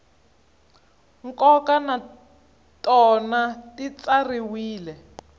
nkoka na tona ti tsariwile